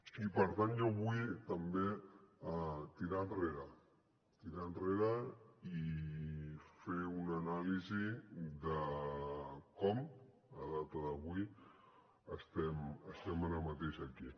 i per tant jo vull també tirar enrere tirar enrere i fer una anàlisi de com a data d’avui estem ara mateix aquí